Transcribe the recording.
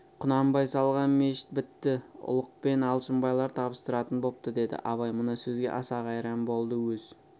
құнанбай салған мешіт бітті ұлықпен алшынбайлар табыстыратын бопты деді абай мына сөзге аса қайран болды өз